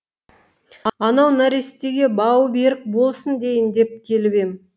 анау нәрестеге бауы берік болсын дейін деп келіп ем